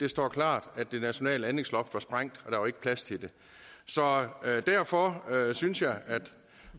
det står klart at det nationale anlægsloft var sprængt og der var ikke plads til det så derfor synes jeg